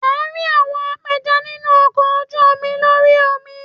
A rí àwọn apẹja nínú ọkọ̀ ojú omi lórí omi.